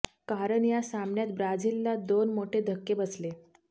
कारण या सामन्यात ब्राझीलला दोन मोठे धक्के बसले